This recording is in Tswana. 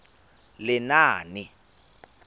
lenaane